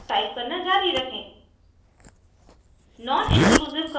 code के इस भाग को टाइप करना जारी रखें